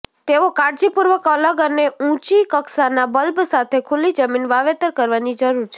તેઓ કાળજીપૂર્વક અલગ અને ઊંચી કક્ષાના બલ્બ સાથે ખુલ્લી જમીન વાવેતર કરવાની જરૂર છે